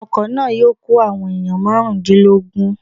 Ọkọ̀ náà yóò kó àwọn èèyàn márùndínlógún